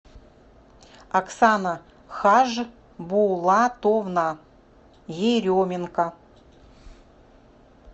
оксана хажбулатовна еременко